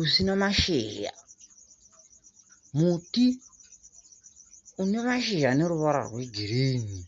usina mashizha, muti une mashizha ane ruvara rwegirini